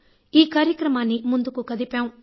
ఈ కార్యక్రమాన్ని ముందుకు కదిపాం